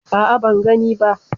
A'a, ban gani ba.